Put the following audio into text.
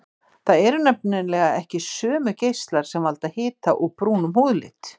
Það eru nefnilega ekki sömu geislar sem valda hita og brúnum húðlit.